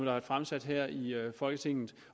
har fremsat her i folketinget